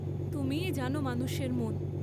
তুমিই জান, মানুষের মন।